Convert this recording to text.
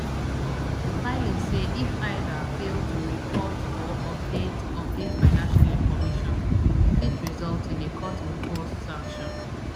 di filing say if either fail to report or update update financial information e fit result in a courtimposed sanction